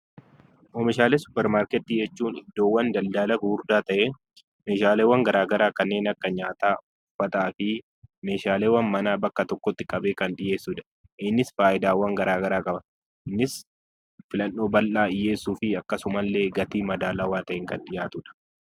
Oomishaalee suuparmarketii jechuun iddoowwan daldala gurguddaa ta'ee meeshaaleen garaa garaa kanneen akka: nyaataa, uffataa fi meeshaalee manaa bakka tokkotti qabee kan dhiyeessudha. Innis faayidaawwan garaa garaa qaba; filannoo bal'aa dhiyeessuu fi akkasumas illee gatii madaalawaa ta'een kan dhiyaatudha.